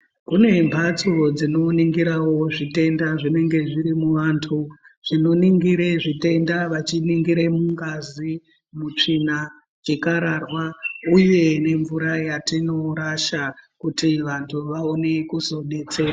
Kune mbatso dzinoningirawo zvitenda zvinenge zviri muantu zvinoningire zvitenda vachiningira mungazi, tsvina makararwa uye nemvura yatinorasha kuti vantu vaone kuzodetserwa.